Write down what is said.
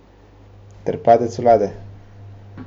Ter padec vlade.